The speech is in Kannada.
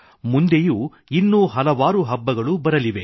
ಮುಂದೆಯೂ ಇನ್ನು ಹಲವಾರು ಹಬ್ಬಗಳು ಬರಲಿವೆ